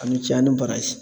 A' ni ce a' ni baraji.